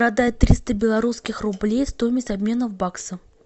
продать триста белорусских рублей стоимость обмена в баксы